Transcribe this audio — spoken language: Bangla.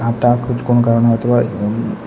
টা কুচ কোন কারণে হতে পারে উম--